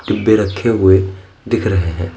डिब्बे रखे हुए दिख रहे हैं।